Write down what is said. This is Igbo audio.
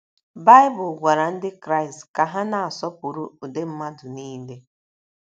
Baịbụl gwara Ndị Kraịst ka ha na - asọpụrụ ụdị mmadụ niile.